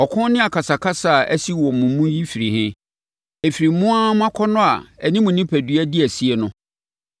Ɔko ne akasakasa a asi mo mu yi firi he? Ɛfiri mo ara mo akɔnnɔ a ɛne mo onipadua di asie no.